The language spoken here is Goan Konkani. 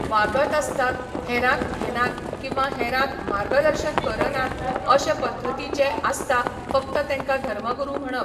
वागत आसतात हेरांक घेनात किंवां हेरांक मार्गदर्शन करनात अशें पध्दतीचे आसता फक्त तेंकां धर्मगुरू म्हणप